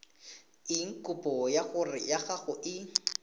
eng kopo ya gago e